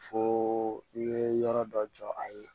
Fo i ye yɔrɔ dɔ jɔ a ye